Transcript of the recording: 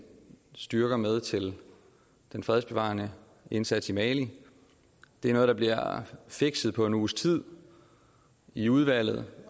styrker med til den fredsbevarende indsats i mali det er noget der bliver fikset på en uges tid i udvalget